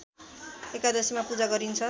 एकादशीमा पूजा गरिन्छ